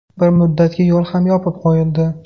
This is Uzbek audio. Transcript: Bir muddatga yo‘l ham yopib qo‘yildi.